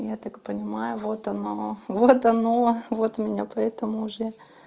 я так понимаю вот оно вот оно вот у меня поэтому уже